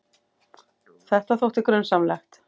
Þetta þótti grunsamlegt.